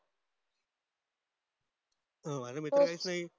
अं माझ मित्र नाही